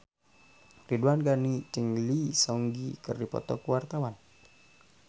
Ridwan Ghani jeung Lee Seung Gi keur dipoto ku wartawan